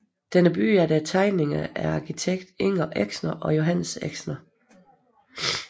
Den er bygget efter tegninger af arkitekterne Inger Exner og Johannes Exner